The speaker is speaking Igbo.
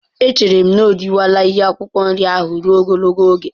Echere m na o riwela ihe akwụkwọ nri ya ahụ ruo ogologo oge.